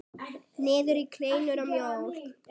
Niður í kleinur og mjólk.